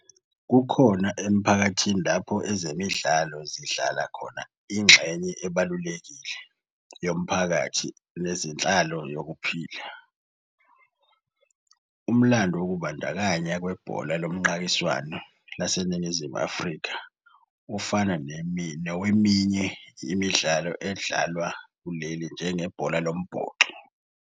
Kukhona emphakathini lapho ezemidlalo zidlala khona ingxenye ebalulekile yomphakathi nezenhlalo yokuphila. Umlando wokubandakanya kwebhola lomqakiswano laseNingizimu Afrika ufana noweminye imidlalo edlalwa kuleli njenge bhola lomboxo.